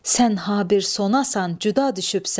Sən ha bir sonasan cüda düşübsən.